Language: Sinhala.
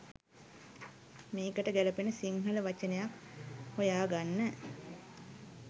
මේකට ගැළපෙන සිංහල වචනයක් හොයා ගන්න